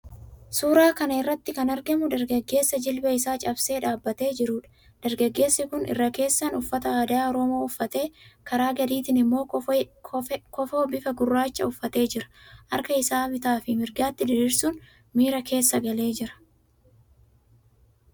Suuraa kana irratti kan argamu dargaggeessa jilba isaa cabsee dhaabbatee jiruudha. Dargaggeessi kun irra keessaan uffata aadaa Oromoo uffatee, karaa gadiitiin immoo kofoo bifa gurraachaa uffatee jira. Harka isaa bitaafi mirgatti diriirsuun miira keessa galee jira.